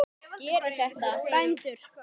Gerið þetta, bændur!